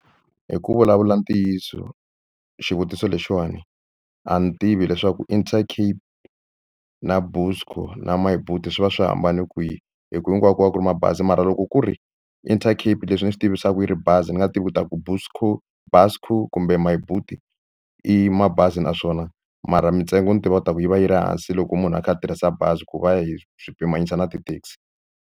Hi ku vulavula ntiyiso xivutiso lexiwani a ni tivi leswaku Intercape na Buscor na Myboet swi va swi hambane kwihi hi ku hinkwayo ku va ku ri mabazi mara loko ku ri Intercape leswi ni swi tivisaku yi ri bazi ni nga tivi u ta ku Buscor Buscor kumbe Myboet i mabazi naswona mara mintsengo ni tiva ku taku yi va yi ri hansi loko munhu a kha a tirhisa bazi ku va hi swi pimanyisa na ti-taxi.